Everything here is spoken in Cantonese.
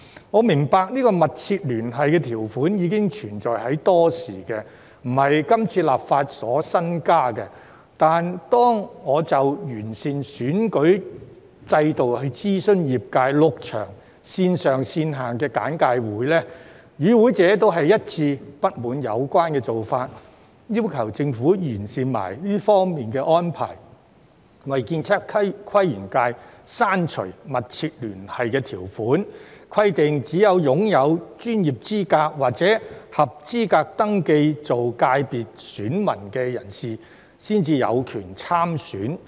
我明白"密切聯繫"條款已存在多時，並非今次立法新增，但當我就完善選舉制度諮詢業界，舉辦了6場線上線下的簡介會，與會者一致不滿有關做法，要求政府完善這方面的安排，為建測規園界刪除"密切聯繫"條款，規定只有擁有專業資格或合資格登記做界別選民的人士才有權參選。